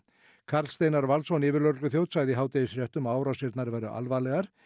Karl Steinar Valsson yfirlögregluþjónn sagði í hádegisfréttum að árásirnar væru alvarlegar